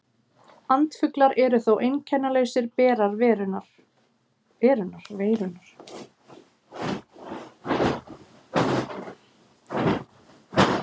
Andfuglar eru þó einkennalausir berar veirunnar.